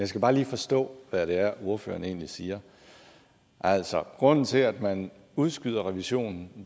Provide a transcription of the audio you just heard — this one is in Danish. skal bare lige forstå hvad det er ordføreren egentlig siger altså grunden til at man udskyder revisionen